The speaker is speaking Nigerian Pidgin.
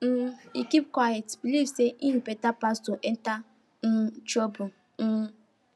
um he keep quiet believe say e better pass to enter um trouble um